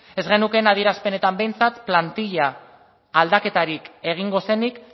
ez genukeen adierazpenetan behintzat plantilla aldaketarik egingo zenik